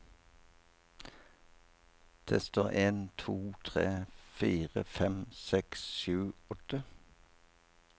Tester en to tre fire fem seks sju åtte